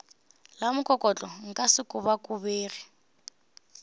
la mokokotlo nka se kobakobege